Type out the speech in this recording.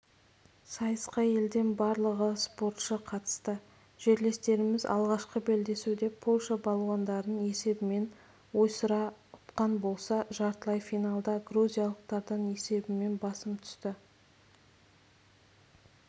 сайысқа елден барлығы спортшы қатысты жерлестеріміз алғашқы белдесуде польша балуандарын есебімен ойсыра ұтқан болса жартылай финалда грузиялықтардан есебімен басым түсті